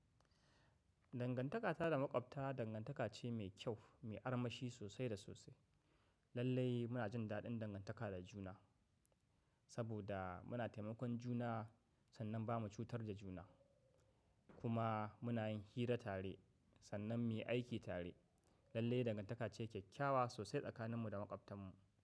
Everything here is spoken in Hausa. Dangantaka ta da maƙwabta dangantaka ce mai kyau, mai armashi sosai da sosai. Lallai muna jin daɗin dangantaka da juna. Saboda, muna taimakon juna sannan ba mu cutar da juna. Kuma, muna yin hira tare, sannan mu yi aiki tare. Lallai dangantaka ce kyakkyawa sosai tsakaninmu da maƙwabtanmu.